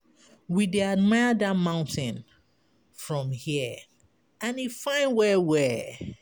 We dey admire dat mountain from hear and e fine well-well.